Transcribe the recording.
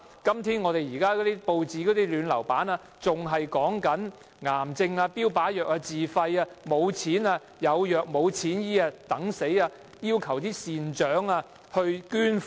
今天報章的"暖流版"還在報道癌症的標靶藥物，病人須自費購買，沒錢購買的病人只能等死，要求善長捐款。